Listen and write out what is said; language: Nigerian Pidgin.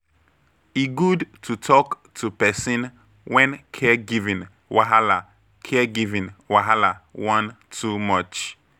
E good to talk to person when caregiving wahala caregiving wahala wan too much.